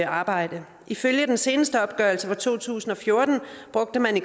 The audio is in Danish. arbejde ifølge den seneste opgørelse fra to tusind og fjorten brugte man i